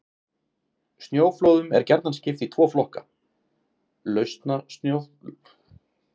Snjóflóðum er gjarnan skipt í tvo flokka: Lausasnjóflóð og flekaflóð.